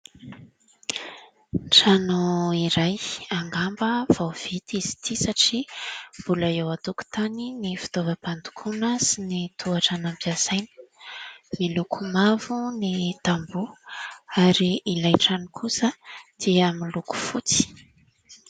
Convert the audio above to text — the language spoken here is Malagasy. Trano iray, angamba vao vita izy ity satria mbola eo an-tokontany ny fitaovam-pandokoana sy ny tohotra nampiasaina. Miloko mavo ny tamboho ary ilay trano kosa dia miloko fotsy.